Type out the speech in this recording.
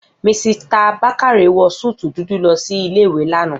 Misita Bákáre wọ súútù dúdú lọ sí ilé ìwé l'ana